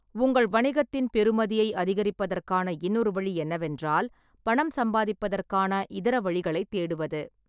உங்கள் வணிகத்தின் பெறுமதியை அதிகரிப்பதற்கான இன்னொரு வழி என்னவென்றால், பணம் சம்பாதிப்பதற்கான இதர வழிகளைத் தேடுவது.